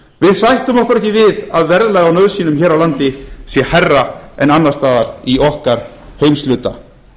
sættum okkur ekki við að verðlag á nauðsynjum hér á landi sé hærra en annars staðar í okkar heimshluta